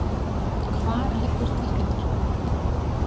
Hvar liggur tilfinningin?